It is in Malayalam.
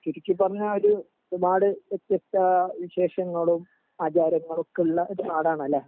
ചുരുക്കി പറഞ്ഞ ഒരു നാട് വ്യത്യസ്ത വിശേഷങ്ങളും ആചാരങ്ങളും ഒക്കെ ഉള്ള ഒരു നാടാണ് ലെ